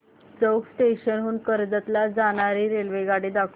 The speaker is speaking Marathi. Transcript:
चौक स्टेशन हून कर्जत ला जाणारी रेल्वेगाडी दाखव